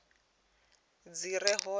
dzi re hone na u